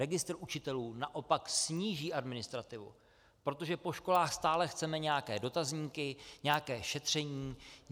Registr učitelů naopak sníží administrativu, protože po školách stále chceme nějaké dotazníky, nějaké šetření.